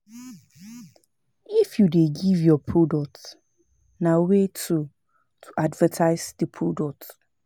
If you de give your product, na way to to advertise di product